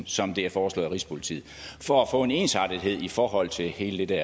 som det er foreslået af rigspolitiet for at få en ensartethed i forhold til hele det